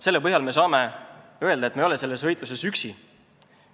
Selle põhjal saab öelda, et me ei ole selles võitluses üksi.